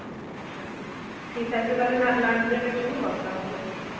আচ্ছা, ঠিক আছে তাহলে, লা~ lunch break এর সময় কথা হবে.